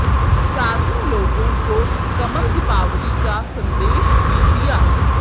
साथ ही लोगों को कमल दीपावली का संदेश भी दिया